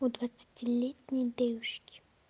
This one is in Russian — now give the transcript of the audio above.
у двадцатилетней девушки